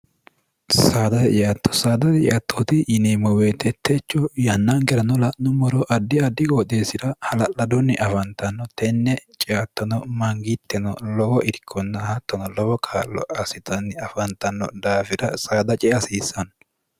sdytto sdttoot yinemmo weetettechu yannaangeranola'nu moro addi addi goodeessi'ra hala'ladunni afantanno tenne ceattono mangiittino lowo irkonna hattono lowo kaallo asitonni afantanno daafira saada ce hasiissanno